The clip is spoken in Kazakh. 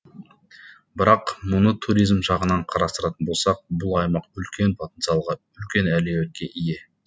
бірақ мұны туризм жағынан қарастыратын болсақ бұл аймақ үлкен потенциалға үлкен әлеуетке ие